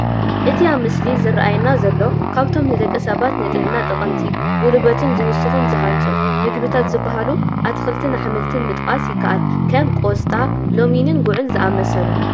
እቲ ኣብቲ ምስሊ ዝራኣየና ዘሎ ካብቶም ንደቂ ሰባት ንጥዕና ጠቐምቲ፣ ጉልበት ዝውስኹን ዝሃንፁን ምግብታት ዝባሃሉ ኣትክልትን ኣሕምልትን ምጥቃስ ይካኣል፡፡ ከም ቆስጣ፣ ለሚንን ጉዕ ዝኣመሰሉ፡፡